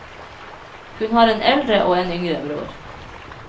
Hun har en eldre og en yngre bror.